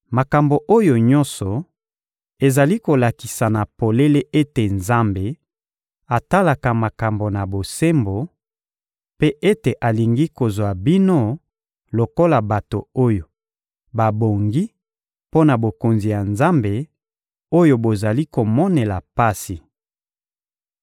Makambo oyo nyonso ezali kolakisa na polele ete Nzambe atalaka makambo na bosembo, mpe ete alingi kozwa bino lokola bato oyo babongi mpo na Bokonzi ya Nzambe, oyo bozali komonela pasi.